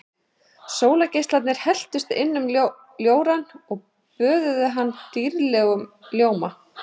Sólargeislarnir helltust inn um ljórann og böðuðu hann dýrlegum ljóma.